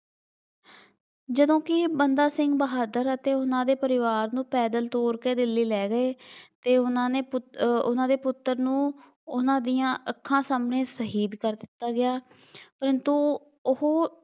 ਜਦੋਂ ਕਿ ਬੰਦਾ ਸਿੰਘ ਬਹਾਦਰ ਅਤੇ ਉਹਨਾ ਦੇ ਪਰਿਵਾਰ ਨੂੰ ਪੈਦਲ ਤੋਰ ਕੇ ਦਿੱਲੀ ਲੈ ਗਏ, ਅਤੇ ਉਹਨਾ ਨੇ ਪੁੱਤਰ, ਉਹਨਾ ਦੇ ਪੁੱਤਰ ਨੂੰ ਉਹਨਾ ਦੀਆਂ ਅੱਖਾਂ ਸਾਹਮਣੇ ਸ਼ਹੀਦ ਕਰ ਦਿੱਤਾ ਗਿਆ ਪਰੰਤੂ ਉਹ